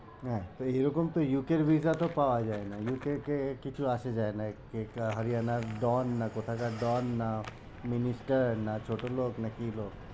হ্যাঁ, তো এইরকম তো UK এর visa তো পাওয়া যায় না UK কে কিছু আসে যায় না হরিয়ানার don না কোথাকার don না minister না ছোটলোক, না কি লোক?